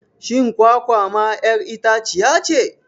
Shin kwakwa ma 'yar itaciyace.?